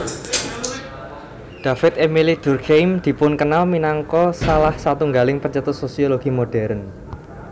David Émile Durkheim dipunkenal minangka salah satunggaling pencetus sosiologi modèrn